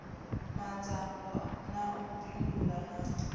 madzhango na u bindula na